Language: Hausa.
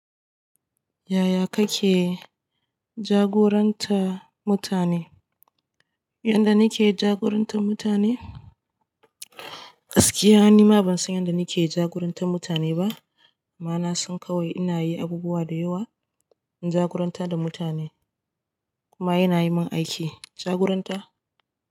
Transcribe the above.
Yaya kake jagorantar mutane? Yanda nake jagorantar mutane? Gaskiya nima ban san yanda nake jagorantar mutane ba. Amma na san kawai ina yin abubuwa da yawa in jagorantar da mutane kuma ina yi min aiki. Jagoranta?